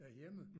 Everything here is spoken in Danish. Derhjemme